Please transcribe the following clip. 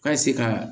Ka se ka